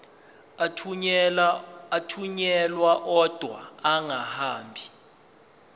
athunyelwa odwa angahambi